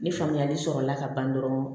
Ni faamuyali sɔrɔla ka ban dɔrɔn